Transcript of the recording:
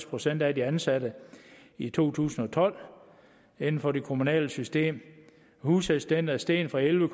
procent af de ansatte i to tusind og tolv inden for det kommunale system husassistenter er steget fra elleve